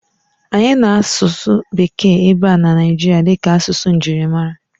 Anyị na-asụsụ Bekee ebe a na Naijiria dịka asụsụ njirimara.